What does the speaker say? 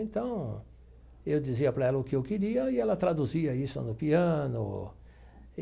Então, eu dizia para ela o que eu queria e ela traduzia isso no piano.